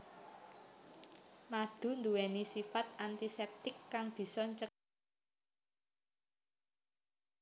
Madu nduweni sifat antiseptik kang bisa ncegah inféksi bakteri